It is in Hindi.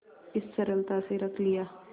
इस सरलता से रख लिया